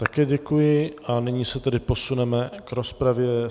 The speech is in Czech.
Také děkuji a nyní se tedy posuneme v rozpravě.